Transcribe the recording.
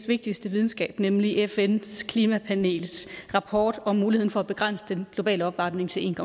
vigtigste videnskab nemlig fns klimapanels rapport om muligheden for at begrænse den globale opvarmning til en